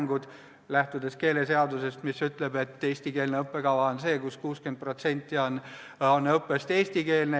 Seejuures lähtutakse keeleseadusest, mis ütleb, et eestikeelne õppekava on see, kus 60% õppest on eestikeelne.